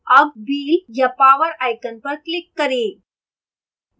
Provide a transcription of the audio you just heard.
अब wheel या power icon पर click करें